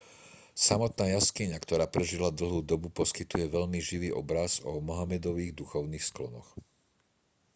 samotná jaskyňa ktorá prežila dlhú dobu poskytuje veľmi živý obraz o mohamedových duchovných sklonoch